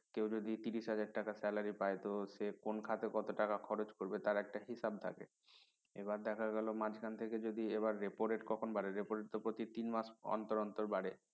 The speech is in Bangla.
কেউ যদি তিরিশ হাজার টাকার salary পায় তো সে কোন খাদে কত টাকা খরচ করবে তার একটা হিসাব থাকে এবার দেখা গেল মাঝখান থেকে যদি এবার repo rate কখন বাড়ে repo rate তো প্রতি তিন মাস অন্তর অন্তর বাড়ে